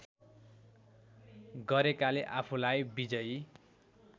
गरेकाले आफूलाई विजयी